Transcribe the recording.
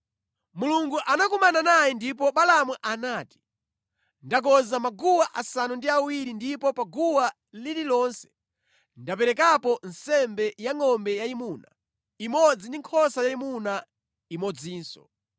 Mulungu anakumana naye ndipo Balaamu anati, “Ndakonza maguwa asanu ndi awiri ndipo pa guwa lililonse ndaperekapo nsembe ya ngʼombe yayimuna imodzi ndi nkhosa yayimuna imodzinso.”